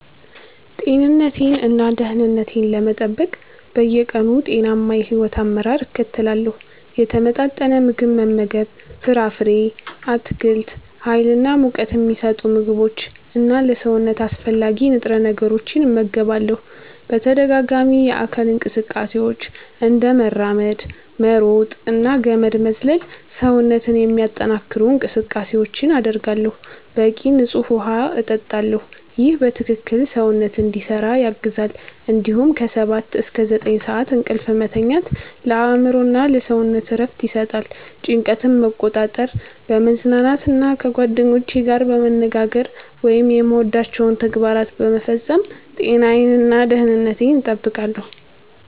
ጤንነቴን እና ደህንነቴን ለመጠበቅ በየቀኑ ጤናማ የሕይወት አመራር እከተላለሁ። የተመጣጠነ ምግብ መመገብ ፍራፍሬ፣ አትክልት፣ ሀይል እና ሙቀት ሚሰጡ ምግቦች እና ለሰውነት አስፈላጊ ንጥረ ነገሮችን እመገባለሁ። በተደጋጋሚ የአካል እንቅስቃሴዎች፤ እንደ መራመድ፣ መሮጥ እና ገመድ መዝለል ሰውነትን የሚያጠነክሩ እንቅስቃሴዎችን አደርጋለሁ። በቂ ንፁህ ውሃ እጠጣለሁ ይህ በትክክል ሰውነትን እንዲሰራ ያግዛል እንዲሁም ከ 7–9 ሰዓት እንቅልፍ መተኛት ለአእምሮ እና ለሰውነት እረፍት ይሰጣል። ጭንቀትን መቆጣጠር፣ በመዝናናት እና ከጓደኞቼ ጋር በመነጋገር ወይም የምወዳቸውን ተግባራት በመፈጸም ጤናዬን እና ደህንነቴን እጠብቃለሁ።